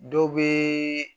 Dɔw bɛ